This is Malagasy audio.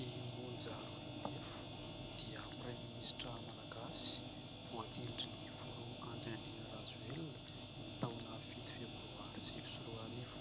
I Monja ROINDEFO dia praiminisitra Malagasy, voatendrin'ny filoha Andry Nirina RAJOELINA ny taona fito febroary sivy sy roarivo.